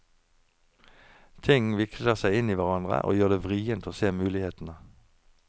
Ting vikler seg inn i hverandre, og gjør det vrient å se mulighetene.